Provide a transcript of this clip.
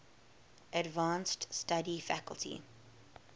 advanced study faculty